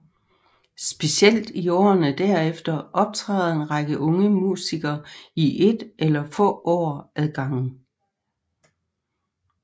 Specielt i årene derefter optræder en række unge musikere i ét eller få år ad gangen